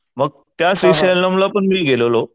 मग त्या श्रीशल्यम ला पण मी गेलेलो.